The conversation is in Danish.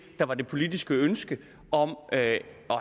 der var det politiske ønske om at